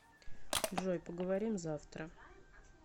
джой поговорим завтра